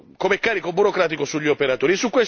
come carico burocratico sugli operatori.